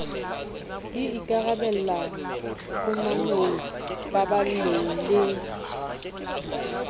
di ikarabella phumanong paballong le